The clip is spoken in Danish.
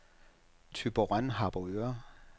Thyborøn-Harboøre